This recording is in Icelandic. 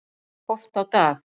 Oft á dag.